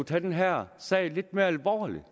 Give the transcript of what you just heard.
tage den her sag lidt mere alvorligt